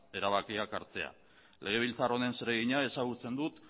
erabakiak hartzea legebiltzar honen zeregina ezagutzen dut